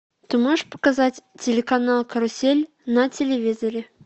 ты можешь показать телеканал карусель на телевизоре